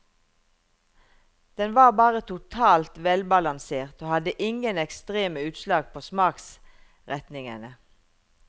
Den var bare totalt velbalansert og hadde ingen ekstreme utslag på smaksretningene.